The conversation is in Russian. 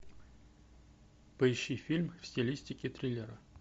поищи фильм в стилистике триллера